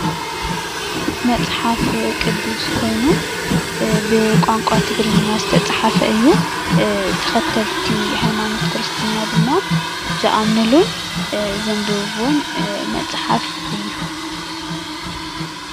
መፅሓፍ ቅዱስ ኮይኑ ብ ቋንቋ ትግርኛ ዝተፃሓፈ እዩ። ተከተልቲ ሃይማኖት ክርስትና ድማ ዝኣምንሉን ዘንብብዎን መፅሓፍ እዩ።